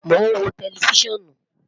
Mo n wo tẹlifisiọnu